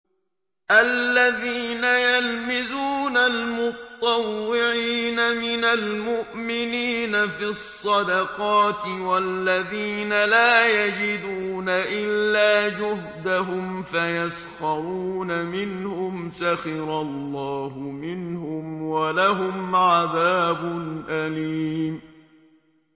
الَّذِينَ يَلْمِزُونَ الْمُطَّوِّعِينَ مِنَ الْمُؤْمِنِينَ فِي الصَّدَقَاتِ وَالَّذِينَ لَا يَجِدُونَ إِلَّا جُهْدَهُمْ فَيَسْخَرُونَ مِنْهُمْ ۙ سَخِرَ اللَّهُ مِنْهُمْ وَلَهُمْ عَذَابٌ أَلِيمٌ